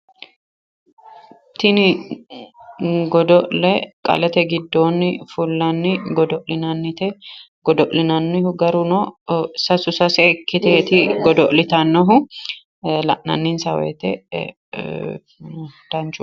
Tini godo'le qalete giddoonni fullanni godo'linannite godo'linannihu garuno sasu sase ikkiteeti godo'litannohu la'nanninsa woyiite danchu